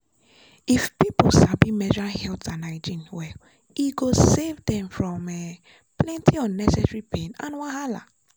if people sabi menstrual health and hygiene well e go save dem from um plenty unnecessary pain and wahala.